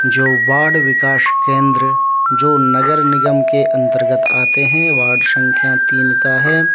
जो वार्ड विकास केन्द्र जो नगर निगम के अन्तर्गत आते हैं वार्ड संख्या तीन का है।